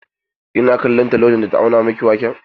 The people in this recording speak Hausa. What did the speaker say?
Kina kallon ta lokacin da ta auna miki waken?